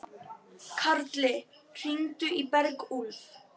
Þá var hann fluttur til Noregs.